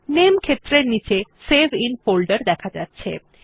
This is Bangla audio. নামে ক্ষেত্রের নীচে সেভ আইএন ফোল্ডের দেখা যাচ্ছে